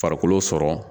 Farikolo sɔrɔ